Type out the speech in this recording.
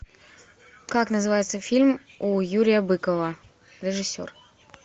как называется фильм у юрия быкова режиссер